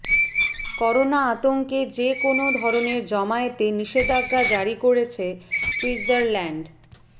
corona আতঙ্কে যে কোনও ধরনের জমায়েতে নিষেধাজ্ঞা জারি করেছে সুইৎজ়ারল্যান্ড